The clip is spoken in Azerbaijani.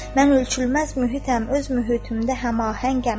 Mən ölçülməz mühitəm, öz mühitimdə həmaəngəm.